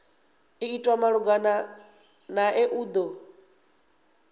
itwa malugana nae u do